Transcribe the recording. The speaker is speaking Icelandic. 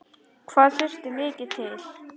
Hvað þurfti mikið til?